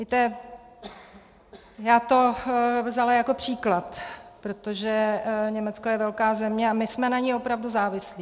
Víte, já to vzala jako příklad, protože Německo je velká země a my jsme na ní opravdu závislí.